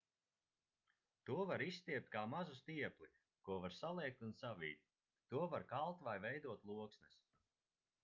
to var izstiept kā mazu stiepli ko var saliekt un savīt to var kalt vai veidot loksnes